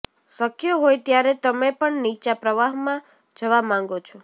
શક્ય હોય ત્યારે તમે પણ નીચા પ્રવાહમાં જવા માંગો છો